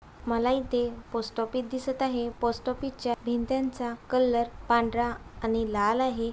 मला इथे पोस्टऑफिस दिसत आहै पोस्टऑफिस च्या भींत्यांच्या कलर पांढरा आणि लाल आहे.